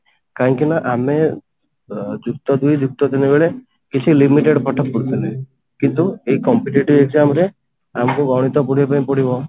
କାହିଁକି ନା ଆମେ ଅ ଯୁକ୍ତ ଦୁଇ ଯୁକ୍ତ ତିନି କିଛି limited ପାଠ ପଢୁଥିଲେ କିନ୍ତୁ ଏଇ competitive exam ରେ ଆମକୁ ଗଣିତ ପଢିବା ପାଇଁ ପଡିବ